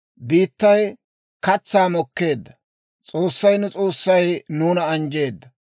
Biittay katsaa mokkeedda; S'oossay, nu S'oossay nuuna anjjeedda.